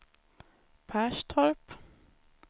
Perstorp